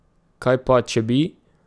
Kaj pa, če bi?